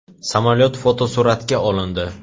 Samolyot fotosuratga olindi.